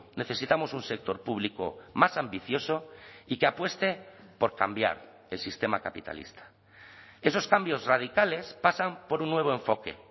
necesitamos un sector público más ambicioso y que apueste por cambiar el sistema capitalista esos cambios radicales pasan por un nuevo enfoque